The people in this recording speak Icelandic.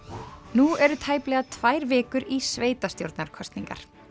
nú eru tæplega tvær vikur í sveitastjórnarkosningar